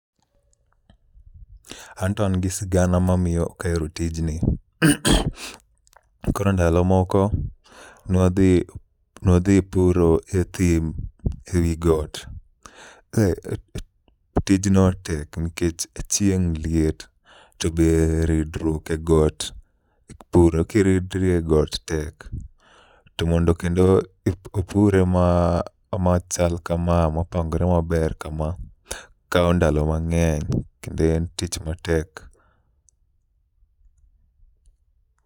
Anto an gi sigana ma miyo ok ahero tijni. Koro ndalo moko nwadhi, nwadhi puro e thim ewi got. Eh, tijno tek nkech chieng' liet to be ridruok e got, puro kiridri e got tek. To mondo kendo ip opure machal kama mopangore maber kama, kawo ndalo mang'eny kendo en tich matek.